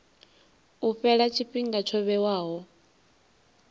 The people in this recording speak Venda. u fhela tshifhinga tsho vhewaho